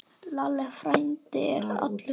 Lalli frændi er allur.